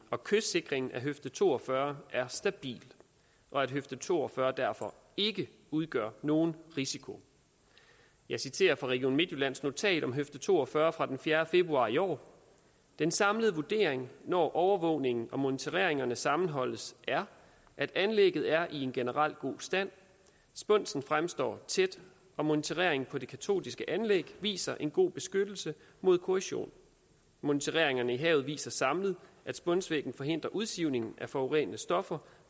og kystsikringen af høfde to og fyrre er stabil og at høfde to og fyrre derfor ikke udgør nogen risiko jeg citerer fra region midtjyllands notat om høfde to og fyrre fra fjerde februar i år den samlede vurdering når overvågningen og monitoreringerne sammenholdes er at anlægget er i en generelt god stand spunsen fremstår tæt og monitoreringen på de katodiske anlæg viser en god beskyttelse mod korrosion monitoreringerne i havet viser samlet at spunsvæggen forhindrer udsivningen af forurenede stoffer